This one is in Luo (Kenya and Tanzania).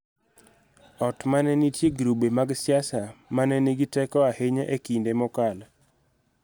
Ot ma ne nitie grube mag siasa ma ne nigi teko ahinya e kinde mokalo�